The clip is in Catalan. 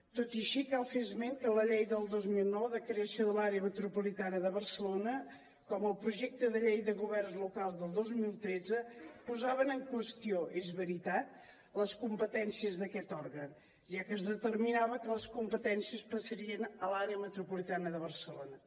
tot i així cal fer esment que la llei del dos mil deu de creació de l’àrea metropolitana de barcelona com el projecte de llei de governs locals del dos mil tretze posaven en qüestió és veritat les competències d’aquest òrgan ja que es determinava que les competències passarien a l’àrea metropolitana de barcelona